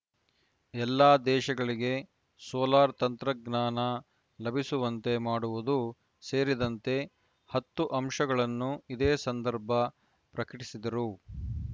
ಎಲ್ಲ ದೇಶಗಳಿಗೆ ಸೋಲಾರ್‌ ತಂತ್ರಜ್ಞಾನ ಲಭಿಸುವಂತೆ ಮಾಡುವುದು ಸೇರಿದಂತೆ ಹತ್ತು ಅಂಶಗಳನ್ನು ಇದೇ ಸಂದರ್ಭ ಪ್ರಕಟಿಸಿದರು